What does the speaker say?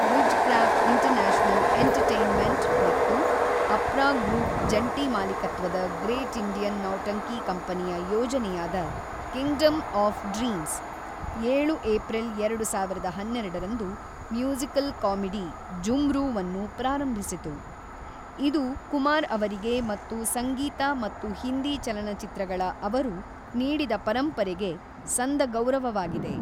Wizcraft international entertainment ಮತ್ತು Apra group ಜಂಟಿ ಮಾಲೀಕತ್ವದ ಗ್ರೇಟ್ ಇಂಡಿಯನ್ ನೌಟಂಕಿ ಕಂಪನಿಯ ಯೋಜನೆಯಾದ ಕಿಂಗ್‌ಡಮ್ ಆಫ್ ಡ್ರೀಮ್ಸ್, ಏಳು ಏಪ್ರಿಲ್ ಎರಡು ಸಾವಿರದ ಹನ್ನೆರಡರಂದು ಮ್ಯೂಸಿಕಲ್ ಕಾಮಿಡಿ 'ಜುಮ್ರೂ'ವನ್ನು ಪ್ರಾರಂಭಿಸಿತು, ಇದು ಕುಮಾರ್ ಅವರಿಗೆ ಮತ್ತು ಸಂಗೀತ ಮತ್ತು ಹಿಂದಿ ಚಲನಚಿತ್ರಗಳ ಅವರು ನೀಡಿದ ಪರಂಪರೆಗೆ ಸಂದ ಗೌರವವಾಗಿದೆ.